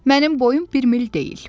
Mənim boyum bir mil deyil.